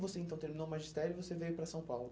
você então terminou o magistério, você veio para São Paulo?